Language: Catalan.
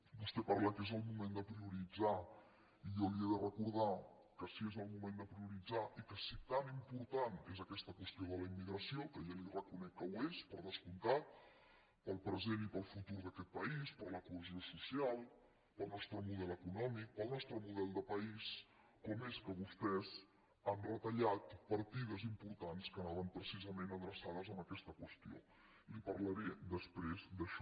vostè parla que és el moment de prioritzar i jo li he de recordar que si és el moment de prioritzar i que si tan important és aquesta qüestió de la immigració que ja li reconec que ho és per descomptat per al present i futur d’aquest país per a la cohesió social per al nostre model econòmic per al nostre model de país com és que vostès han retallat partides importants que anaven precisament adreçades a aquesta qüestió li’n parlaré després d’això